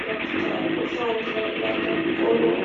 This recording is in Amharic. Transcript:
ሁለቱ ተቆልተው አንድላይ ያለ ቆሎ ነው።